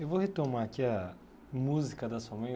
Eu vou retomar aqui a música da sua mãe.